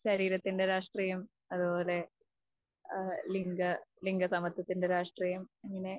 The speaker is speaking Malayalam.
ശരീരത്തിന്റെ രാഷ്ട്രീയം അതുപോലെ ഏഹ് ലിംഗ, ലിംഗസമത്വത്തിന്റെ രാഷ്ട്രീയം അങ്ങനെ.